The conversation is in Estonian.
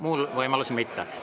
Muul juhul mitte.